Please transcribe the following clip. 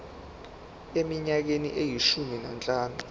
eminyakeni eyishumi nanhlanu